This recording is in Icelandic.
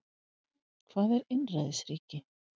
Hvað er einræðisríki?